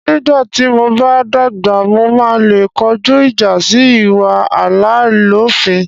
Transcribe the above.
Nígbà tí mo bá dàgbà, màá le kojú ìjà sí ìwà àláìlófin.